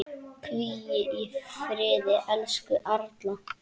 Hvíl í friði, elsku Erla.